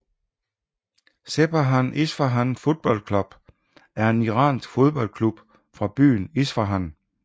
Sepahan Isfahan Football Club er en Iransk fodboldklub fra byen Isfahan